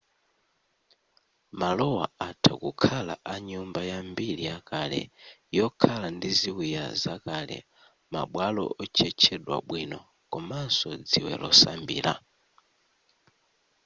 malowa atha kukhala a nyumba ya mbiri yakale yokhala ndi ziwiya zakale ma bwalo otchetchedwa bwino komanso dziwe losambira